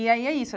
E aí é isso.